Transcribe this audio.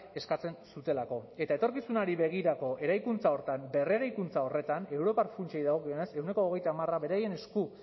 eskatzen zutelako eta etorkizunari begirako eraikuntza horretan berreraikuntza horretan europar funtsei dagokienez ehuneko hogeita hamar beraien esku